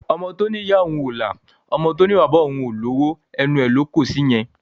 Ọmọ to ní ìyá òún o la, ọmọ tó ní pé bàbà òun o lowo, ẹnu lo kọ sí yẹn